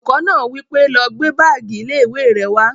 Olùkọ́ náà wí pé, "lọ gbé báàgì ilé-ìwé rẹ wá!"